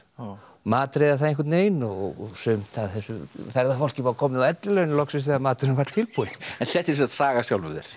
matreiða það einhvern veginn og sumt af þessu ferðafólki var komið á ellilaun loksins þegar maturinn var tilbúinn en þetta er sem sagt saga af sjálfum þér